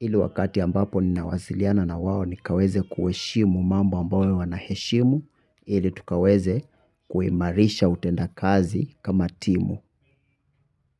ili wakati ambapo ninawasiliana na wao nikaweze kuheshimu mambo ambayo wanaheshimu ili tukaweze kuimarisha utendakazi kama timu.